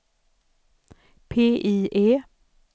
PIE